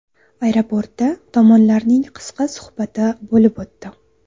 Aeroportda tomonlarning qisqa suhbati bo‘lib o‘tdi.